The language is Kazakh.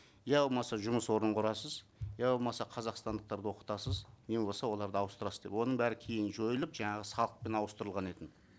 я болмаса жұмыс орнын құрасыз я болмаса қазақстандықтарды оқытасыз не болмаса оларды ауыстырасыз деп оның бәрі кейін жойылып жаңағы салықпен ауыстырылған